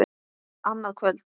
Annað kvöld!